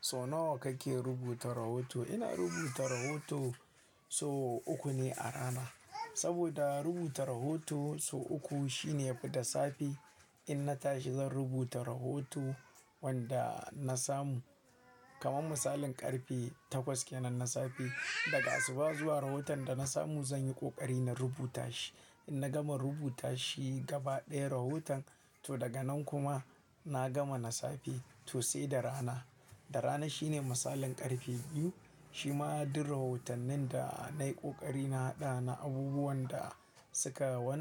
So nawa kake rubuta rahoto? Ina rubuta rahoto so uku ne a rana. Saboda rubuta rahoto so uku shine yafi da safe. Inna tashi zan rubuta rahoton wanda nasamu. Kaman misalin ƙarfe takwas kenan na safe daga asuba zuwa rahoton da nasamu zan yi ƙoƙari na rubuta shi. Inna gama rubuta shi gaba ɗaya rahoton to daga nan kuma na gama na safe to sai da rana. Inna tashi zan rubuta rahoton wanda nasamu. Kaman misalin ƙarfe takwas kenan na safe daga asuba zuwa rahoton da nasamu zan yi ƙoƙari na rubuta shi. Inna gama rubuta shi gaba ɗaya rahoton to daga nan kuma na gama na safe to sai da rana. Kaman misalin ƙarfe takwas kenan na safe daga asuba zuwa rahoton da nasamu zan yi ƙoƙari na rubuta shi. Inna gama rubuta shi gaba ɗaya rahoton to daga nan kuma na gama na safe to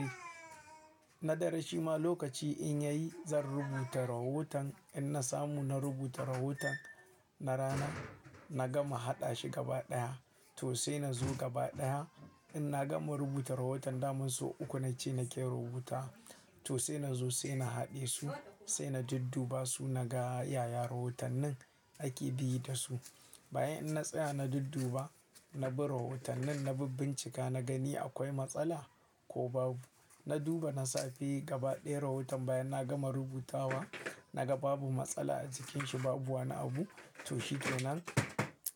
sai da rana. Na dare shima lokaci in yayi zan rubuta rahoton inna samu na rubuta rahoton na rana na gama haɗa shi gaba ɗaya to sai na zo gaba ɗaya. Inna gama rubuta rahoton damin so uku nace nake rubuta to sai na zo sai na haɗe su sai na dudduba su naga yaya rahotannin ake bi da su. Bayan in tsaya na dudduba, na bi rahotannin na bincika na gani akwai matsala ko babu. Na duba na safe gaba ɗaya rahoton bayan na gama rubuta wa naga babu matsala a cikinshi babu wani abu to shikenan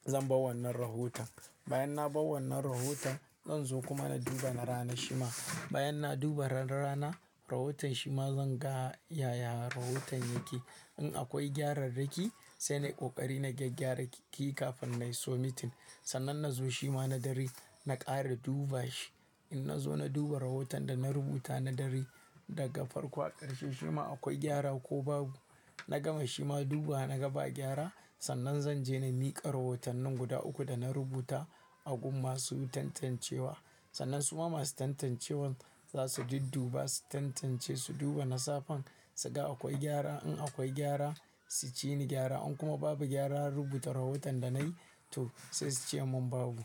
zan bawa wannan rahoton. Bayan na bawa wannan rahoton zan zo kuma na duba na rana shima. Bayan na duba na rana rahoton shima zan ga yaya rahoton yake. In akwai gyararraki sai nayi ƙoƙari nayi gyararraki kafin in nayi so mitin. Sannan nazo shima na dare na ƙara duba shi. In nazo na duba rahoton da na rubuta na dare daga farko har ƙarshe shima akwai gyara ko babu. Na gama shima dubawa na gaba gyara sannan zanje na miƙa rahotannin guda uku da na rubuta a gun masu tantancewa. Sannan suma masu tantancewan za su dudduba su tantance su duba nasafan su ga akwai gyara. In akwai gyara su ceni gyara in kuma babu gyara rubuta rahoton da nayi to sai suce mun babu.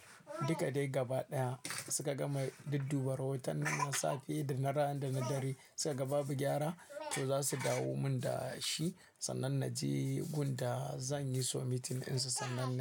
Duka dai gaba ɗaya suka gama dudduba rahotannin na safe da na rana da na dare suka ga babu gyara to za su dawo mun da shi sannan na je gun da zanyi so mitin ɗinsa sannan ne.